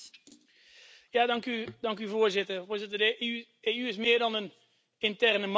Voorzitter, de EU is meer dan een interne markt of een economisch partnerschap.